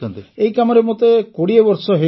ଏହି କାମରେ ମୋତେ ୨୦ ବର୍ଷ ହୋଇଗଲାଣି